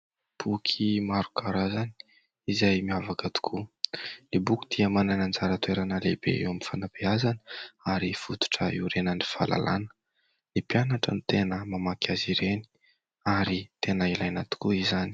Boky maro karazany izay miavaka tokoa. Ny boky dia manana anjara toerana lehibe eo amin'ny fanabeazana ary fototra iorenan'ny fahalalana. Ny mpianatra no tena mamaky azy ireny ary tena ilaina tokoa izany.